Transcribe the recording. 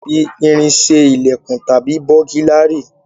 A lè fi irin ṣe ilèkùn tàbí búgílárì